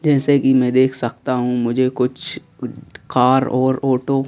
जैसे कि मैं देख सकता हूं मुझे कुछ कार और ऑटो --